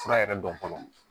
Fura yɛrɛ dɔn fɔlɔ